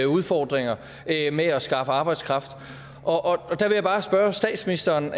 udfordringer med at skaffe arbejdskraft og der vil jeg bare spørge statsministeren